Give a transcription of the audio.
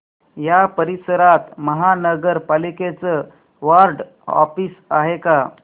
या परिसरात महानगर पालिकेचं वॉर्ड ऑफिस आहे का